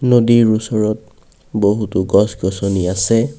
নদীৰ ওচৰত বহুতো গছ-গছনি আছে।